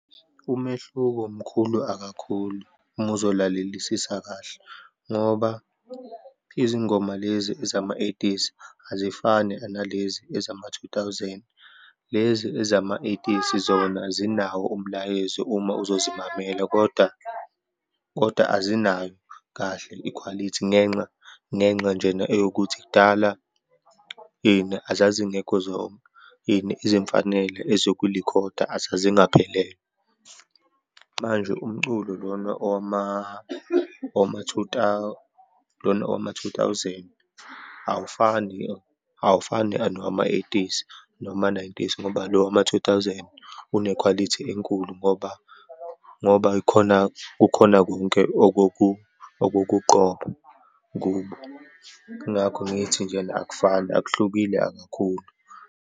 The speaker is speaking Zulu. Umehluko mkhulu akakhulu uma uzolalelisisa kahle, ngoba izingoma lezi ezama-eighties azifani analezi ezama-two thousand. Lezi ezama-eighties, zona zinawo umlayezo uma uzozimamela, kodwa, kodwa azinayo kahle ikhwalithi ngenxa, ngenxa njena eyokuthi, kudala, ini azazingekho zonke ini, izimfanela ezokulikhoda azazingaphelele. Manje umculo lona lona owama-two thousand, awufani, awufani nowama-eighties, nowama-nineties, ngoba lo wama-two thousand unekhwalithi enkulu, ngoba, ngoba khona, kukhona konke okokuqopha kubo. Yingakho ngithi njena akufani, akuhlukile akakhulu.